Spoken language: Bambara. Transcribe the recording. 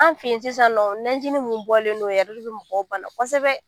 An fɛ yen sisan nɔ najini min bɔlen don o yɛrɛ de bɛ mɔgɔw bana kosɛbɛ